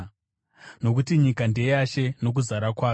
nokuti, “Nyika ndeyaShe, nokuzara kwayo.”